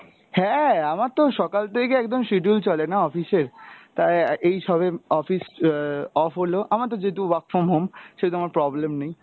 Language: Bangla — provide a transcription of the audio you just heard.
হ্যাঁ আমার তো সকাল থেকে একদম schedule চলে না office এর , তাই এই সবে office আহ off হলো, আমার তো যেহেতু work from home সেহেতু আমার problem নেই